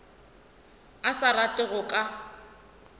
a sa rate go ka